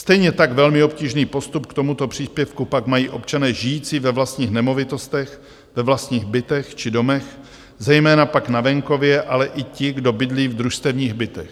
Stejně tak velmi obtížný postup k tomuto příspěvku pak mají občané žijící ve vlastních nemovitostech, ve vlastních bytech či domech, zejména pak na venkově, ale i ti, kdo bydlí v družstevních bytech.